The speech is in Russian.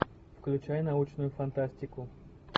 включай научную фантастику